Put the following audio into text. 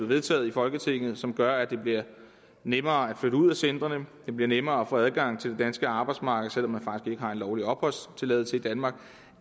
vedtaget i folketinget og som gør at det bliver nemmere at flytte ud af centrene det bliver nemmere at få en adgang til det danske arbejdsmarked selv om man faktisk ikke har en lovlig opholdstilladelse i danmark